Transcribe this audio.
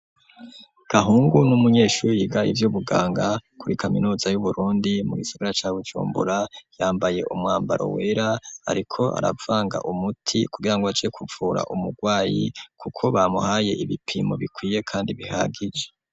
Gahungu n'umunyeshuri yiga ivyo ubuganga kuri kaminuza y'uburundi mu gisagara ca bucumbura yambaye umwambaro wera, ariko aravanga umuti kugira ngo aje kuvura umurwayi, kuko bamuhaye ibipimo bikwiye, kandi bihagije.